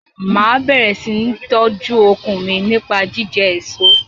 Máa bẹ̀rẹ̀ sini tọju okun mi nípa jíjẹ èso.